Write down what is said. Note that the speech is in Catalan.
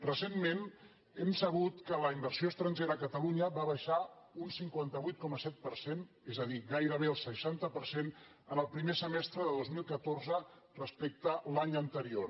recentment hem sabut que la inversió estrangera a catalunya va baixar un cinquanta vuit coma set per cent és a dir gairebé el seixanta per cent en el primer semestre de dos mil catorze respecte a l’any anterior